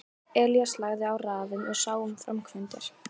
Elías lagði á ráðin og sá um framkvæmdir.